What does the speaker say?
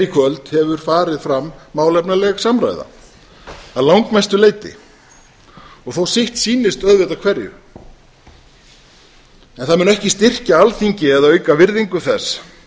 í kvöld hefur fram málefnaleg samræða að langmestu leyti og þó sitt sýnist auðvitað hverjum en það mun ekki styrkja alþingi eða auka virðingu þess